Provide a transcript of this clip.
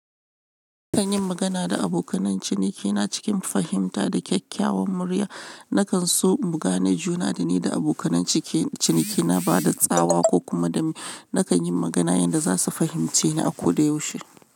Nakan yi magana da abokan cinikina cikin fahimta da kyakkyawan murya. Nakan so mu gane juna da ni da abokan cinikina ba da tsawa ko kuma da nakan yi magana yanda za su fahimce ni a koda yaushe.